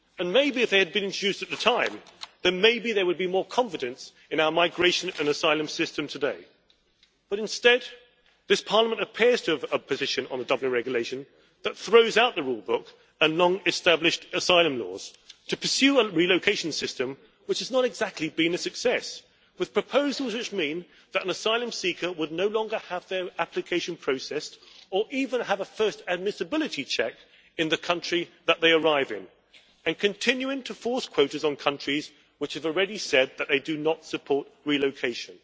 Maybe if they had been introduced at the time, then maybe there would be more confidence in our migration and asylum system today. Instead, this Parliament appears to have a position on adopting a regulation that throws out the rulebook and long established asylum laws to pursue a relocation system which has not exactly been a success, with proposals which mean that an asylum seeker would no longer have their application processed or even have a first admissibility check in the country that they arrive in and continuing to force quotas on countries which have already said that they do not support relocation.